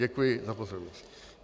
Děkuji za pozornost.